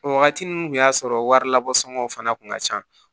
O wagati nun kun y'a sɔrɔ wari labisɔn fana kun ka ca